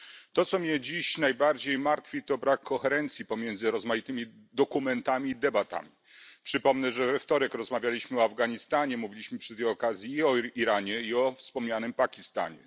To, co mnie dziś najbardziej martwi, to brak koherencji pomiędzy rozmaitymi dokumentami i debatami. Przypomnę, że we wtorek rozmawialiśmy o Afganistanie, mówiliśmy przy tej okazji i o Iranie, i o wspomnianym Pakistanie.